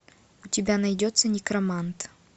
у тебя найдется некромант